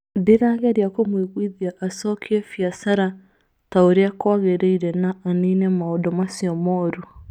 Ndĩrageria kũmũiguithia acokie biacara ta ũrĩa kwagĩrĩire na anine maũndũ macio moru.